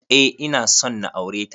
Eh, ina son na aure ta.